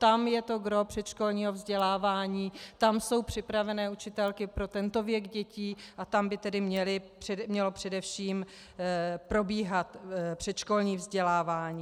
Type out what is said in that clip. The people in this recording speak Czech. Tam je to gros předškolního vzdělávání, tam jsou připravené učitelky pro tento věk dětí a tam by tedy mělo především probíhat předškolní vzdělávání.